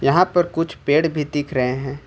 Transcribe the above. यहां पर कुछ पेड़ भी दिख रहे हैं।